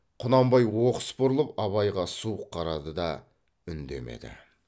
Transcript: құнанбай оқыс бұрылып абайға суық қарады да үндемеді